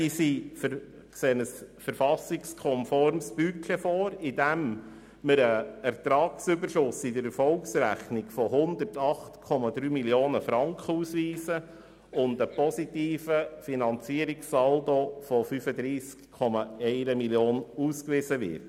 Sie sehen ein verfassungskonformes Budget, in dem in der Erfolgsrechnung ein Ertragsüberschuss von 108,3 Mio. Franken sowie ein positiver Finanzierungssaldo von 35,1 Mio. Franken ausgewiesen wird.